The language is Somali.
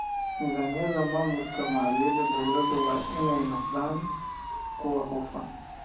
Nidaamyada maamulka maaliyadda dowladda waa in ay noqdaan kuwo hufan.